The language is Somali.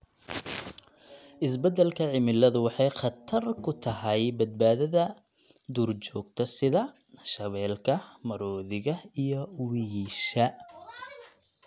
Isbeddelka cimiladu waxay khatar ku tahay badbaadada duurjoogta sida shabeelka, maroodiga iyo wiyisha.